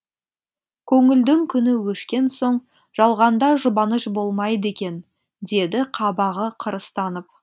көңілдің күні өшкен соң жалғанда жұбаныш болмайды екен деді қабағы қырыстанып